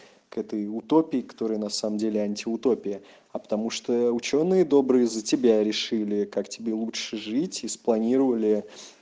к этой утопии которая на самом деле антиутопия а потому что учёные добрые за тебя решили как тебе лучше жить из спланировали